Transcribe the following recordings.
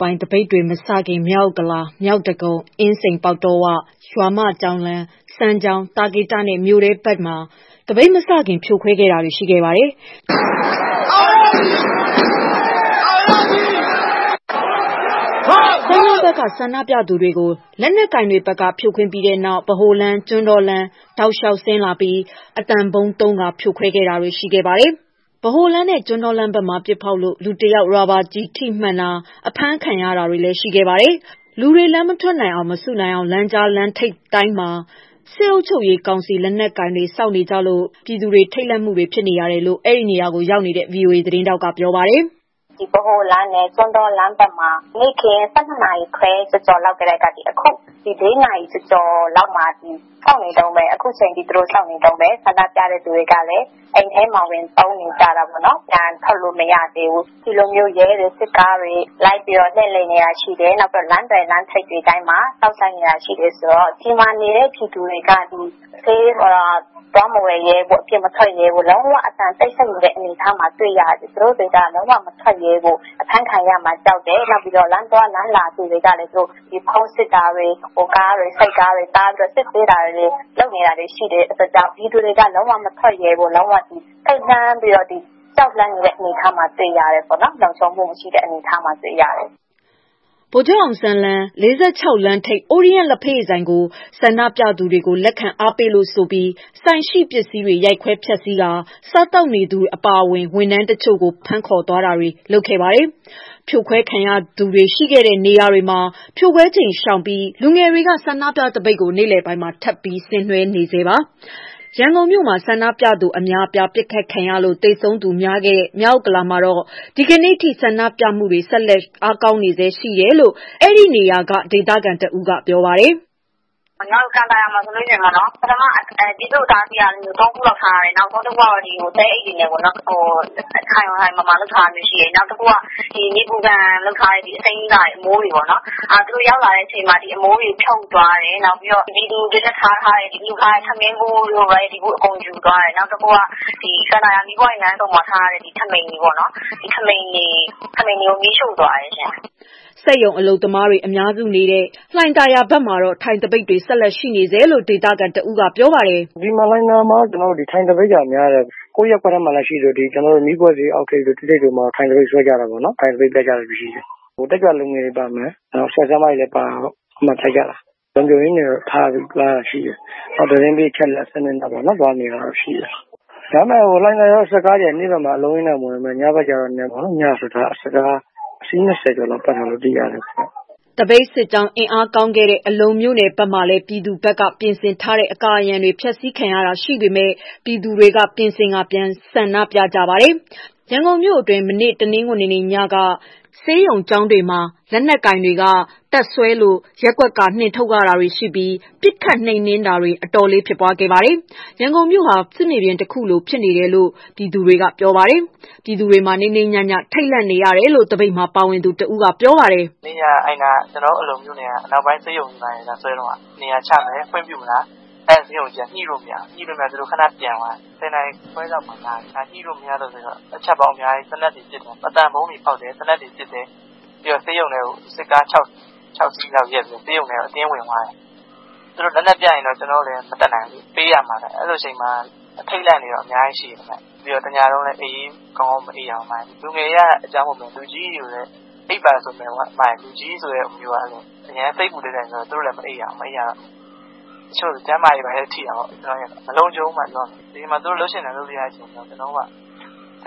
ပိုင်း သပိတ်တွေမစခင် မြောက်ဥက္ကလာ၊ မြောက်ဒဂုံ၊ အင်းစိန်ပေါက်တောဝ၊ ရွာမကျောင်းလမ်း၊ စမ်းချောင်း၊ သာကေတနဲ့ မြို့ထဲဘက်မှာ သပိတ်မစခင်ဖြိုခွဲတာရှိခဲ့ပါတယ်။ စမ်းချောင်းဘက်က ဆန္ဒပြသူတွေကို လက်နက်ကိုင်တွေဘက်က ဖြိုခွင်းပြီးတဲ့နောက် ဗဟိုလမ်း၊ ကျွန်းတောတောက်လျှောက်ဆင်းလာပြီး အသံဗုံးသုံး ဖြိုခွဲတာတွေလည်း ရှိခဲ့ပါတယ်။ ဗဟိုလမ်းဘက်နဲ့ ကျွန်းတောလမ်းဘက်မှာ ပစ်ဖောက်လို့ လူတစ်ယောက်ရာဘာကျည်ထိမှန်တာ အဖမ်းခံရတာတွေ ရှိတယ်။ လူတွေ လမ်းမထွက်နိုင်အောင် မစုနိုင်အောင် လမ်းကြားလမ်းထိပ်တိုင်းမှာ စစ်အုပ်ချုပ်ရေးကောင်စီ လက်နက်ကိုင်တွေ စောင့်နေကြလို့ ပြည်သူတွေက ထိတ်လန့်မှုတွေဖြစ်နေရတယ်လို့ အဲဒီနေရာမှာရောက်နေတဲ့ ဗွီအိုအေ သတင်းထောက်ကပြောပါတယ်။ "ဗဟိုလမ်းနဲ့ ကျွန်းတောလမ်းထိပ်တွေမှာရော နေ့ခင်း ၁၂ ခွဲကျော်ကျော်လောက်ကတည်းက အခုညနေ လေးနာရီကျော်ကျော်လောက်မှာထိ အခုထိစောင့်နေတုန်းဆန္ဒပြတဲ့ လူတွေကလည်း အိမ်ထဲတွေမှာ ပုန်းနေရတယ်။ ပြန်ထွက်လို့မရသေးဘူး။ ဒီလိုရဲတွေ၊ စစ်တပ်တွေ လှည့်နေတာရှိတယ်။ လမ်းသွယ်၊ လမ်းထိပ်တိုင်းစောင့်ဆိုင်းနေတာ ရှိတယ်။ ဆိုတော့ဒီမှာနေတဲ့ ပြည်သူတွေက ဈေးတောင်ထွက် မဝယ်ရဲဘူး၊ အပြင်မထွက်ရဲဘူး။ အကုန်လုံး တိတ်ဆိတ်နေတယ်။ လုံးဝအပြင်မထွက်ရဲဘူး။ အဖမ်းခံရမှာကြောက်တယ်။ နောက်ပြီးတော့ လမ်းသွားလမ်းလာတွေကို ဖုန်းစစ်တာတွေ၊ နောက်ကားတွေ၊ ဆိုက်ကားတွေ တားပြီးတော့ စစ်ဆေးတာတွေ လုပ်နေတယ်။ ပြည်သူတွေက လုံးဝမထွက်ရဲဘူး။ ထိတ်လန့်ပြီးတော့ ကြောက်လန့်နေတဲ့အနေအထားမှာ တွေ့ရတယ်။ လုံခြုံမှု မရှိတဲ့အနေအထားမှာ တွေ့ရတယ်။" ဗိုလ်ချုပ်အောင်ဆန်း လမ်း ၄၆ လမ်းထိပ်၊ ORIENT လ္ဘက်ရည်ဆိုင်ကို ဆန္ဒပြသူတွေကို လက်ခံအားပေးလို့ဆိုပြီး ဆိုင်ရှိပစ္စည်းတွေကို ရိုက်ခွဲဖျက်ဆီးပြီး စားသောက်နေသူတွေအပါအဝင် ဝန်ထမ်းတချို့ကို ဖမ်းခေါ်တာတွေ လုပ်ခဲ့ပါတယ်။ ဖြိုခွဲခံရသူတွေ ရှိခဲ့တဲ့နေရာတွေမှာ ဖြိုခွဲချိန်ရှောင်ပြီး လူငယ်တွေက ဆန္ဒပြသပိတ်ကို နေ့လယ်ပိုင်းမှာ ထပ်ပြီး ဆင်နွှဲနေဆဲပါ။ ရန်ကုန်မြို့မှာ ဆန္ဒပြသူတွေ အများအပြားပစ်ခတ်ခံရလို့ သေဆုံးသူ များခဲ့တဲ့ မြောက်ဥက္ကလာမှာလည်း ဒီကနေ့အထိ ဆန္ဒပြမှုတွေဆက်ရှိနေဆဲ ဖြစ်ပြီး အားကောင်းနေဆဲရှိတယ်လို့ အဲဒီနေရာကဒေသခံတဦးကပြောပါတယ်။ "ကန်သာယာမှာဆိုရင် ပြည်သူ့ အတားအဆီး ၃ ခု လောက်ထားတယ်။ နောက်ဆုံးက သဲအိတ်တွေနဲ့ပေါ့နော်။ ခိုင်ခိုင်မာမာ လုပ်ထားတာမျိုးရှိတယ်။ နောက်တခုက နေပူခံလုပ်ထားတဲ့ အစိမ်းကာတွေ အမိုးတွေပေါ့နော်... သူတို့ရောက်လာတဲ့အချိန်မှာ ဒီအမိုးတွေ ဖြုတ်သွားတယ်။ ပြည်သူတွေတွက်ထားထားတဲ့၊ လှူထားတဲ့ ထမင်းဘူးတို့၊ အအေးဗူးတို့ ယူသွားတယ်။ နောက်တခုက ကန်သာယာမီးပွိုင့်လမ်းဆုံမှာထားတဲ့ ပြည်သူ့ ထဘီတွေပေါ့နော်... ထဘီတွေကို မီးရှို့သွားတယ်။" စက်ရုံအလုပ်သမားတွေ အများစုနေတဲ့ လှိုင်သာယာဘက်မှာတော့ ထိုင်သပိတ်တွေ ဆက်ရှိနေဆဲရှိတယ်လို့ ဒေသခံတဦးက ပြောပါတယ်။ "လှိုင်သာယာမှာတော့ ထိုင်သပိတ်က များတယ်။ ကိုယ့်ရပ်ကွက်ထဲမှာ ရှိသလို မီးခွက်ဈေး အောက်ထိပ်တို့၊ ၁ ထိပ်တို့မှာ ထိုင်သပိတ် ဆွဲကြတာပေါ့နော်။ တက်ကြွလူငယ်တွေပါမယ်၊ နောက် ဆရာ၊ ဆရာမတွေလည်း ပါတာပေါ့ အဲဒီမှာထိုင်ကြတာ။ လုံခြုံရေးကတော့ ထားတယ်။ နောက်သတင်းပေး အချက်အလက်နဲ့ သွားနေတာရှိတယ်။ ဒါပေမဲ့ လှိုင်သာယာမှာ စစ်ကားတွေက နေ့ဘက်မှာ အလုံးအရင်းနဲ့ မဝင်ပေမဲ့ ညဘက်ကျရင် စစ်ကားအစီး ၂၀ ကျော်လောက်ပတ်နေတာ သိရတယ်။" သပိတ်စစ်ကြောင်း အင်အားကောင်းခဲ့တဲ့ အလုံမြို့နယ်ဘက်မှာလည်း ပြည်သူဘက်က ပြင်ဆင်ထားတဲ့ အကာအရံတွေ ဖျက်ဆီးခံရတာ ရှိပေမဲ့ ပြည်သူတွေက ပြင်ဆင်ပြီး ပြန်ဆန္ဒပြကြပါတယ်။ ရန်ကုန်မြို့အတွင်း မနေ့ တနင်္ဂနွေညက နေရာအတော်များများကို လုံခြုံရေးတွေက ဆေးရုံ၊ ကျောင်းတွေမှာ တပ်စွဲလို့ ရပ်ကွက်က နှင်ထုတ်ရတာတွေ ရှိပြီး ပစ်ခတ်နှိမ်နင်းတာတွေ အတော်လေးဖြစ်ပွားခဲ့ပါတယ်။ ရန်ကုန်မြို့ဟာ စစ်မြေပြင်တခုလိုဖြစ်နေတယ်လို့ ပြည်သူတွေက ပြောပါတယ်။ ပြည်သူတွေဟာ နေ့နေ့ညည ထိတ်လန့်နေရတယ်လို့ သပိတ်မှာ ပါဝင်နေသူတဦးက ပြောပါတယ်။ "မနေ့ညက ကျနော်တို့ အလုံမြို့နယ်က အနောက်ပိုင်းဆေးရုံမှာ လာဆွဲတုန်းက နေရာချမယ်.. ခွင့်ပြုမလား။ အဲဒီ ဆေးရုံအုပ်က ညှိလို့မရဘူး။ ညှိမရတော့ သူတို့ ခဏ ပြန်သွားတယ်။ ၁၀ ခွဲလောက်မှာ လာတယ် ညှိမရလို့ဆိုပြီး အချက်ပေါင်းအများကြီး သေနတ်တွေ ပစ်တယ်။ အသံဗုံးတွေ ဖောက်တယ်၊ သေနတ်တွေ ပစ်တယ်။ ဆေးရုံထဲ စစ်ကား ၆ စီးလောက်နဲ့ ဆေးရုံထဲကို အတင်းဝင်သွားတယ်။ သူတို့လက်နက်ပြတော့ ကျနော်တို့လည်း မတတ်နိုင်ဘူးလေ... ပေးရမှာပဲ။ အဲဒီလိုအချိန်မှာပေါ့လေ အထိတ်အလန့်တွေ အများကြီး ရှိတယ်။ တညလုံးလည်း ကောင်းကောင်းမအိပ်ရဘူး။ လူငယ်တွေက အကြောင်း မဟုတ်ပေမဲ့ လူကြီးတွေကျတော့ အိပ်ပါဆိုလည်း လူကြီးဆိုတာက အရမ်း စိတ်ပူတတ်တော့ သူတို့လည်း မအိပ်နိုင်ဘူး။ အဲဒီတော့ တချို့တွေလည်း ကျန်းမာရေးထိတာပေါ့။ မလုံခြုံဘူးဗျ။ သူတို့က ဒီအချိန်မှာ လုပ်ချင်တိုင်း လုပ်နေကြတာ စိ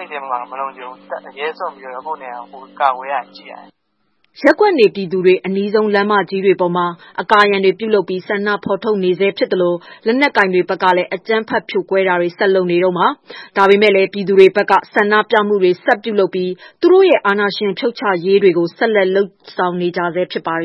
တ်ထဲမှာ မလုံခြုံဘူး။ အရဲစွန့်ပြီးတော့ ကိုယ့်နေရာကိုယ်ရသလို ကာကွယ်နေရတယ်။" ရပ်ကွက်နေပြည်သူတွေ အနီးဆုံး လမ်းမကြီးတွေပေါ်မှာ အကာအရံတွေ ပြုလုပ်ပြီး ဆန္ဒဖော်ထုတ်နေဆဲ ဖြစ်သလို၊ လက်နက်ကိုင်တွေဘက်ကလည်း အကြမ်းဖက်ဖြိုခွဲတာတွေ ဆက်လုပ်နေတုန်းပါ။ ဒါပေမဲ့လည်း ပြည်သူတွေဘက်က ဆန္ဒပြမှုတွေ ဆက်ပြုလုပ်ပြီး သူတို့ရဲ့ အာဏာရှင်ဖြုတ်ချရေးတွေကို ဆက်လက်လုပ်ဆောင်နေကြဆဲ ဖြစ်ပါ